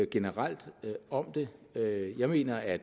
generelt om det jeg mener at